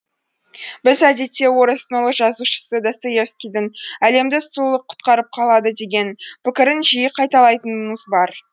біз әдетте орыстың ұлы жазушысы достоевскийдің әлемді сұлулық құтқарып қалады деген пікірін жиі қайталайтынымыз бар